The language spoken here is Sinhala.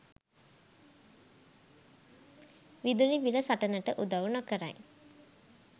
විදුලි බිල සටනට උදව් නොකරයි.